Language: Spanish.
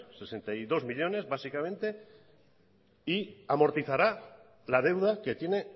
sesenta y dos millónes básicamente y amortizará la deuda que tiene